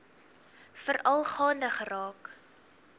veral gaande geraak